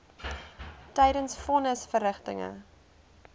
tydens von nisverrigtinge